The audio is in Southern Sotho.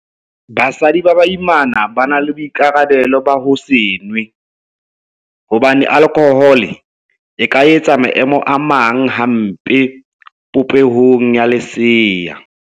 Basadi ba baimana ba na le boikarabelo ba ho se nwe hobane alkhohole e ka etsa maemo a amang hampe popeho ya lesea.